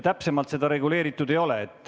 Täpsemalt seda reguleeritud ei ole.